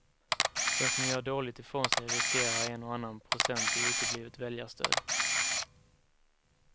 Den som gör dåligt ifrån sig riskerar en och annan procent i uteblivet väljarstöd.